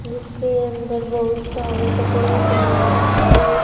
जिसके अंदर बहुत सारे कपड़ों के में एक--